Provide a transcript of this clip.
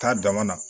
Taa dama na